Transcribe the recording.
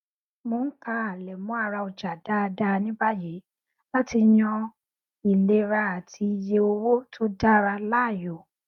mò n ka àlẹmọ ara ọjà dáadáa ní báyìí láti yan ìlera àti iye owó tó dára láàyò